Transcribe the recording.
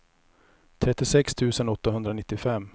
trettiosex tusen åttahundranittiofem